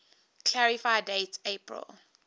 clarify date april